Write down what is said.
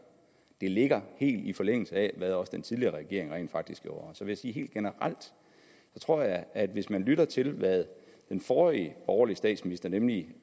det ligger helt i forlængelse af hvad også den tidligere regering rent faktisk gjorde så vil jeg sige helt generelt jeg tror at hvis man lytter til hvad den forrige borgerlige statsminister nemlig